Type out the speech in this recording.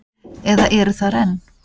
Eða eru þar enn.